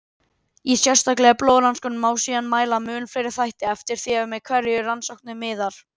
Í sértækari blóðrannsóknum má síðan mæla mun fleiri þætti, eftir því að hverju rannsóknin miðar.